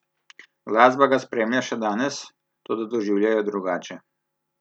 Glasba ga spremlja še danes, toda doživlja jo drugače.